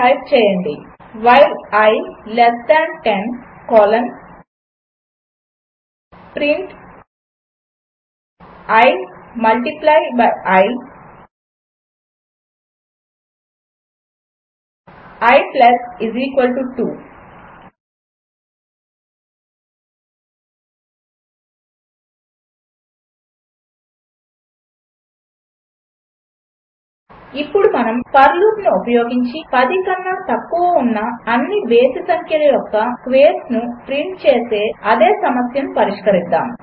type చేయండి i 2 while i less than 10 colon print i multiply by i i 2 ఇప్పుడు మనము for లూపును ఉపయోగించి 10 కన్నా తక్కువ ఉన్న అన్ని బేసి సంఖ్యల యొక్క స్క్వేర్స్ను ప్రింట్ చేసే అదే సమస్యను పరిష్కరిద్దాము